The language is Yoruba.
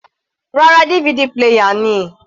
Rárá, DVD player ni.